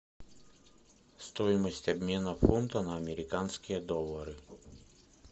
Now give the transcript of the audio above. стоимость обмена фунта на американские доллары